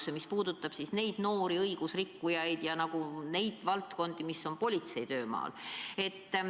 See viimane puudutab noori õigusrikkujaid ja muid valdkondi, mis ulatuvad politsei töömaale.